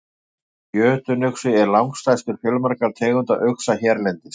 Jötunuxi er langstærstur fjölmargra tegunda uxa hérlendis.